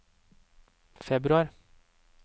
februar